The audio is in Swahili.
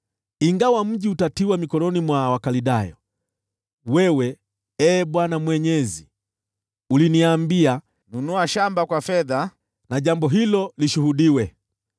Ingawa mji utatiwa mikononi mwa Wakaldayo, wewe, Ee Bwana Mwenyezi, uliniambia, ‘Nunua shamba kwa fedha, na jambo hilo lishuhudiwe.’ ”